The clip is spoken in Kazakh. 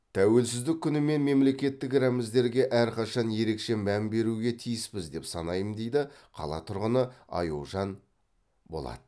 тәуелсіздік күні мен мемлекеттік рәміздерге әрқашан ерекше мән беруге тиіспіз деп санаймын дейді қала тұрғыны аюжан болат